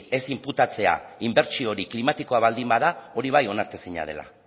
ez inputatzea inbertsio hori klimatikoa baldin bada hori bai onartezina dela